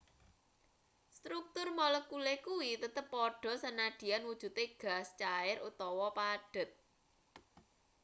struktur molekule kuwi tetep padha sanadyan wujute gas cair utawa padhet